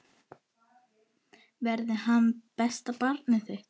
Verði hann besta barnið þitt.